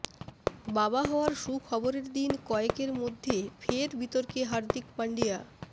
বাবা হওয়ার সুখবরের দিন কয়েকর মধ্যে ফের বিতর্কে হার্দিক পাণ্ডিয়া